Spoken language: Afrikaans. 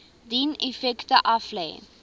dien effekte aflê